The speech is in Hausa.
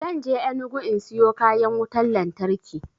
Zan je enugu in siyo kayan wutan lantarki